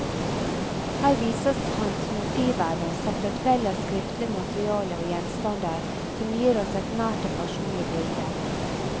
Her vises hans motivverden, samt et vell av skriftlig materiale og gjenstander, som gir oss et nært og personlig bilde.